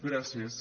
gràcies